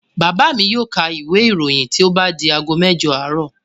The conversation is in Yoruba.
Bàbá mi yóò ka ìwé-ìròyìn tó bá di ago mẹ́jọ àárọ̀.